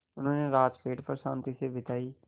उन्होंने रात पेड़ पर शान्ति से बिताई